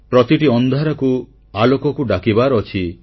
ପ୍ରତିଟି ଅନ୍ଧକାରକୁ ଆଲୋକକୁ ଡାକିବାର ଅଛି